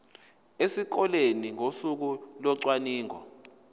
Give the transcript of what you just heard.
esikoleni ngosuku locwaningo